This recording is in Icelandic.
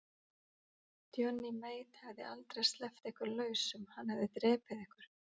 Johnny Mate hefði aldrei sleppt ykkur lausum, hann hefði drepið ykkur.